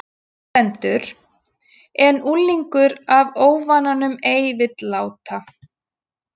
Þar stendur: En unglingur af óvananum ei vill láta